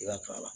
I ka k'a la